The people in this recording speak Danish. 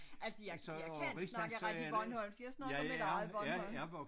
Altså jeg jeg kan snakke rigtig bornholmsk jeg snakker mit eget bornholmsk